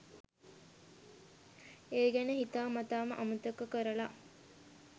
ඒ ගැන හිතා මතාම අමතක කරලා